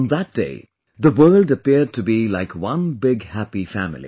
On that day, the world appeared to be like one big happy family